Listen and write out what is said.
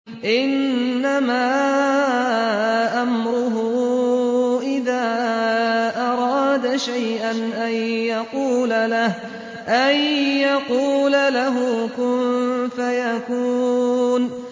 إِنَّمَا أَمْرُهُ إِذَا أَرَادَ شَيْئًا أَن يَقُولَ لَهُ كُن فَيَكُونُ